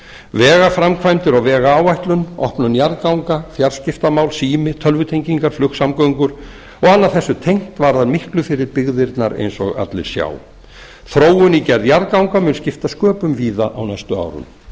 vegaframkvæmdir og vegáætlun opnun jarðganga fjarskiptamál sími tölvutengingar flugsamgöngur og annað þessu tengt varðar miklu fyrir byggðirnar eins og allir sjá þróun í gerð jarðganga mun skipta sköpum víða á næstu árum